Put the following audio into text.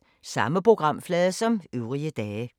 Samme programflade som øvrige dage